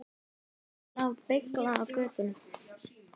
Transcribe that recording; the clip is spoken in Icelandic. Skiltið lá beyglað á götunni.